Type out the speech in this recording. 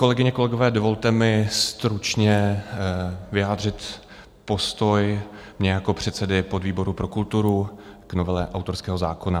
Kolegyně, kolegové, dovolte mi stručně vyjádřit postoj mě jako předsedy podvýboru pro kulturu k novele autorského zákona.